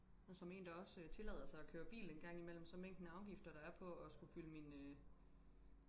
og som en der også tillader sig og køre bil engang imellem så mængden af afgifter der er på og skulle fylde min øh